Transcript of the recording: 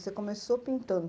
Você começou pintando.